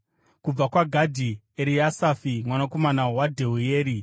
kubva kwaGadhi, Eriasafi mwanakomana waDheueri;